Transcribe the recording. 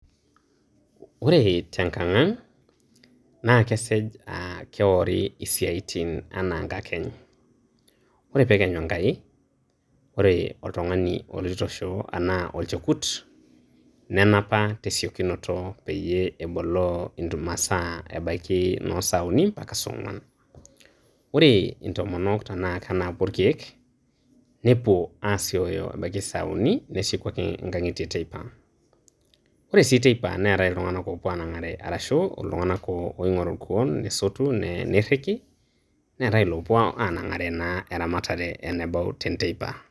Ore te nkang' ang' naa kesej keori isiaitin anaa inkakeny, kore pee ekenyu enkai ore oltungani oloito shoo anaa olchekut nenapa te esiokinoto peeyie eboloo intumasa, ebaiki noo isaa uni mpaka isaa ong'wan. Ore intomonok tanaa kenapu ilkeek nepuo aasioyo ebaiki isaa uni, nesieieku ake inkang'itie teipa. Ore sii teipa neatai iltung'ana oopuo aanang'are aresho iltung'ana oing'oru koon nesotu neiriki, neetai naa iloopuo anagare naa eramatarre tenebau enteipa.